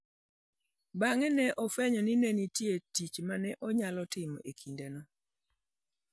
Bang'e ne ofwenyo ni ne nitie tich ma ne onyalo timo e kindeno.